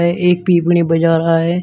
है एक पिपणी बजा रहा है।